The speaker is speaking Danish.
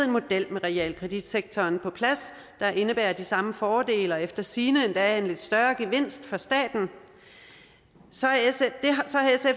model med realkreditsektoren på plads der indebærer de samme fordele og efter sigende endda en lidt større gevinst for staten så